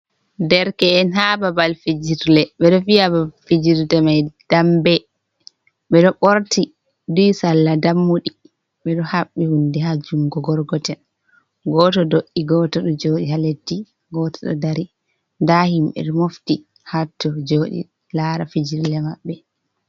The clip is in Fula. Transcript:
Dereke’en haa babal fijirle, ɓe ɗo vi'a babal fijirde may dambe, ɓe ɗo ɓorti duhi salla dammuɗi. Ɓe ɗo haɓɓi hunde haa junngo gorgotel. Gooto do’i gooto ɗo jooɗi haa leddi, gooto ɗo dari. Ndaa himɓe ɗo mofti hatton jooɗi laara fijirle maɓɓe.